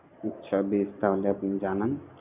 আচ্ছা বেশ তাহলে আপনি জানান